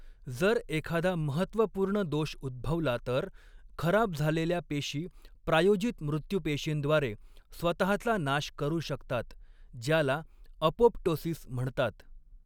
जर एखादा महत्त्वपूर्ण दोष उद्भवला तर, खराब झालेल्या पेशी प्रायोजित मृत्युपेशींद्वारे स्वतहाचा नाश करू शकतात, ज्याला अपोप्टोसिस म्हणतात.